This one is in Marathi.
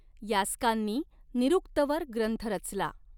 यास्कांनी निऋक्तवर ग्रंथ रचला.